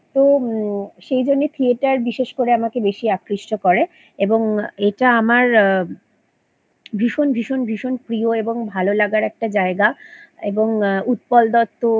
তো ম সেই জন্য থিয়েটার বিশেষ করে আমাকে বেশি আকৃষ্ট করে এবং এটা আমার আ ভীষণ ভীষণ ভীষণ প্রিয় এবং ভালোলাগার একটা জায়গা এবং আ উৎপল দত্ত